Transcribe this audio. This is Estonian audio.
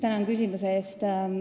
Tänan küsimuse eest!